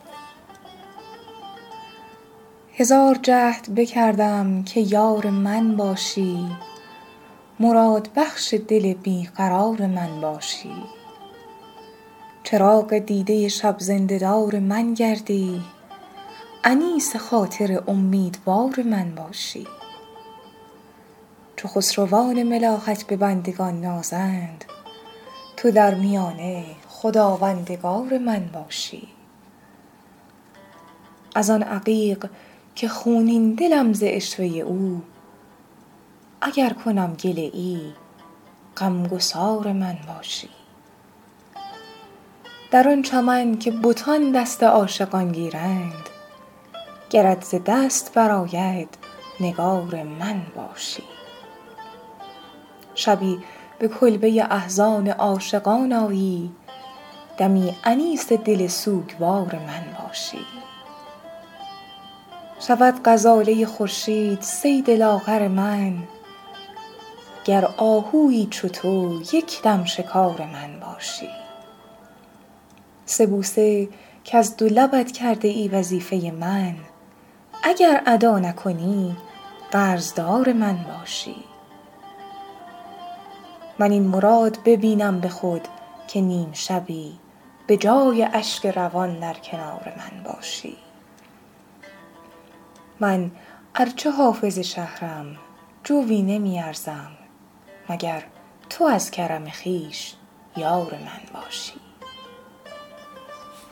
هزار جهد بکردم که یار من باشی مرادبخش دل بی قرار من باشی چراغ دیده شب زنده دار من گردی انیس خاطر امیدوار من باشی چو خسروان ملاحت به بندگان نازند تو در میانه خداوندگار من باشی از آن عقیق که خونین دلم ز عشوه او اگر کنم گله ای غم گسار من باشی در آن چمن که بتان دست عاشقان گیرند گرت ز دست برآید نگار من باشی شبی به کلبه احزان عاشقان آیی دمی انیس دل سوگوار من باشی شود غزاله خورشید صید لاغر من گر آهویی چو تو یک دم شکار من باشی سه بوسه کز دو لبت کرده ای وظیفه من اگر ادا نکنی قرض دار من باشی من این مراد ببینم به خود که نیم شبی به جای اشک روان در کنار من باشی من ار چه حافظ شهرم جویی نمی ارزم مگر تو از کرم خویش یار من باشی